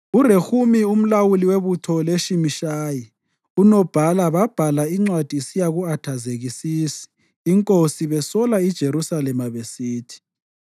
URehumi umlawuli webutho loShimishayi unobhala babhala incwadi isiya ku-Athazekisisi inkosi besola iJerusalema besithi: